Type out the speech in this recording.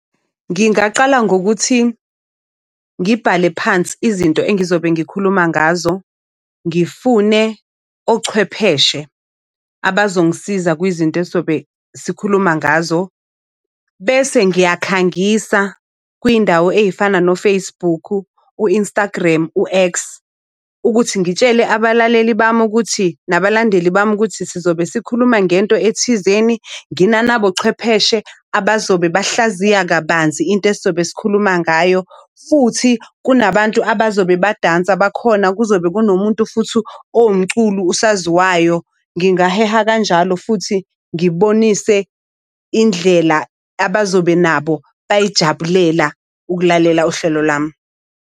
Ngingaqala ngokuthi ngibhale phansi izinto engizobe ngikhuluma ngazo. Ngifune ochwepheshe abazongisiza kwizinto esizobe sikhuluma ngazo. Bese ngiyakhangisa kwindawo ey'fana noFacebook, u-Instagram, u-X, ukuthi ngitshele abalaleli bami ukuthi nabalandeli bami ukuthi sizobe sikhuluma ngento ethizeni. Nginana nabochwepheshe abazobe bahlaziye kabanzi into esizobe sikhuluma ngayo. Futhi kunabantu abazobe badansa bakhona. Kuzobe kunomuntu futhi owumculi usaziwayo. Ngingaheha kanjalo futhi ngibonise indlela abazobe nabo bayijabulela ukulalela uhlelo lami.